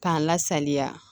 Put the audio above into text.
K'a lasaliya